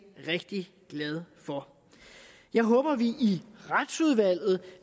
rigtig glad for jeg håber at vi i retsudvalget